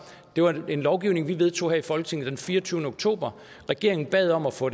det var jo den lovgivning vi vedtog her i folketinget den fireogtyvende oktober og regeringen bad om at få